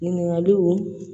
Ɲininkaliw